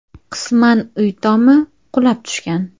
Qisman uy tomi qulab tushgan.